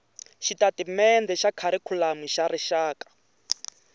xitatimendhe xa kharikhulamu xa rixaka